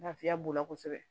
Lafiya b'o la kosɛbɛ